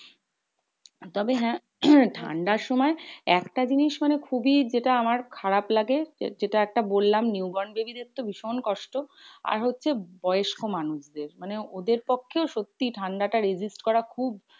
তবে হ্যাঁ ঠান্ডার সময় একটা জিনিস মানে খুবই যেটা আমার খারাপ লাগে যেটা একটা বললাম new born baby দের ভীষণ কষ্ট। আর হচ্ছে বয়স্ক মানুষ দের। মানে ওদের পক্ষেও সত্যি ঠান্ডাটা resist করা খুব